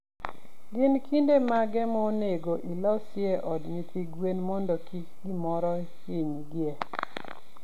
Gin kinde mage monego ilosie od nyithi gwen mondo kik gimoro hiny gie?